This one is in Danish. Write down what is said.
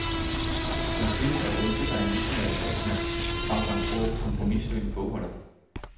Man synes at ønske sig en visionær statsmand frem for en grå, kompromissøgende bogholder.